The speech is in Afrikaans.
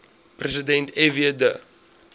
president fw de